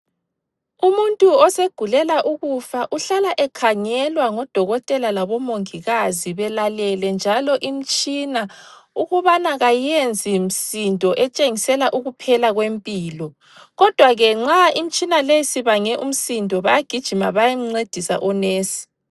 Umuntu osegulela ukufa uhlala ekhangelwa ngodokotela labomongikazi belalele njalo imtshina ukubana kayiyenzi msindo etshengisela ukuphela kwempilo. Kodwa ke nxa imtshina leyi sibange umsindo, bayagijima bayemncedisa onesi.